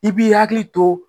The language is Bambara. I b'i hakili to